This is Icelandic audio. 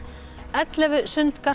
ellefu